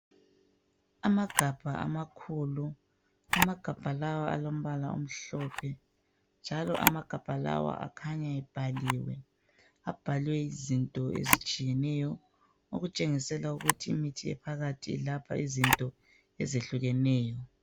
Amagabha amakhulu amagabha lawa alombala omhlophe njalo amagabha lawa akhanya ebhaliwe abhalwe izinto ezihlukeneyo okutshengisela ukuthi imithi ephakathi lapha ilapha izinto ezihlukeneyo.